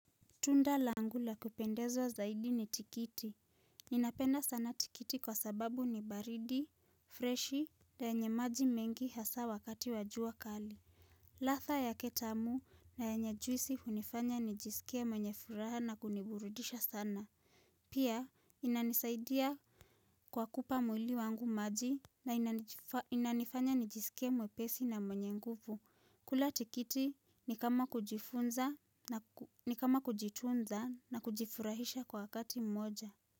Tunda langu la kupendeza zaidi ni tikiti. Ninapenda sana tikiti kwa sababu ni baridi, freshi, na yenye maji mengi hasa wakati wa jua kali. Ladha yake tamu na yenye juisi hunifanya nijisikie mwenye furaha na kuniburudisha sana. Pia, inanisaidia kwa kupa mwili wangu maji na inanifanya nijisikie mwepesi na mwenye nguvu. Kula tikiti ni kama kujifunza na kujitunza. Na kujifurahisha kwa wakati mmoja.